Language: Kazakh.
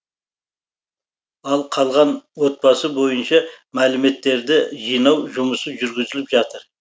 ал қалған отбасы бойынша мәліметтерді жинау жұмысы жүргізіліп жатыр